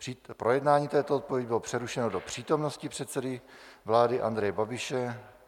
Projednání této odpovědi bylo přerušeno do přítomnosti předsedy vlády Andreje Babiše.